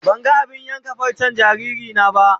Ban gan abin yankan farcen jariri na ba.